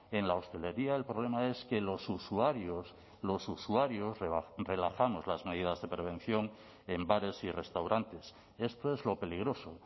en la hostelería el problema es que los usuarios los usuarios relajamos las medidas de prevención en bares y restaurantes esto es lo peligroso